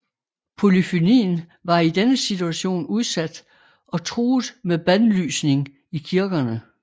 Polyfonien var i denne situation udsat og truet med bandlysning i kirkerne